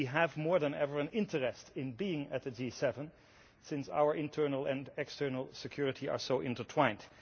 We have, more than ever, an interest in being at the G7 since our internal and external security are so intertwined.